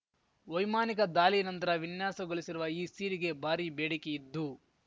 ವೈಮಾನಿಕ ದಾಲಿಯ ನಂತರ ವಿನ್ಯಾಸಗೊಲಿಸಿರುವ ಈ ಸೀರೆಗೆ ಭಾರಿ ಬೇಡಿಕೆಯಿದ್ದು